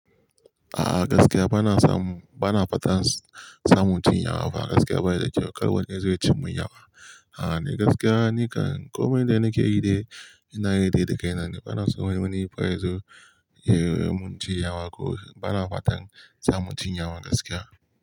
A'a gaskiya bana samu, bana fatan samun cin yawa fa gaskiya bayi da kyau dai zai cin mun yawa. A'a ni gaskiya ni kan komai da nakeyi dai ina yi dai da kaina bana so wani yanzu ya mun cin yawa ko bana fatan samun cin yawa gaskiya.